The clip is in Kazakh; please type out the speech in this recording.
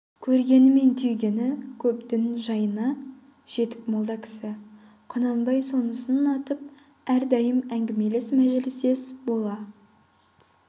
көргені мен түйгені көп дін жайына жетік молда кісі құнанбай сонысын ұнатып әрдайым әңгімелес мәжілістес бола